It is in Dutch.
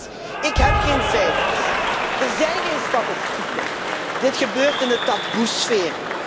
Want collega's, ik heb geen cijfers, er zijn geen statistieken, dit gebeurt in de taboesfeer.